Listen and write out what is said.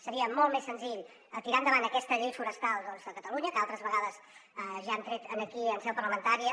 seria molt més senzill tirar endavant aquesta llei forestal de catalunya que altres vegades ja hem tret aquí en seu parlamentària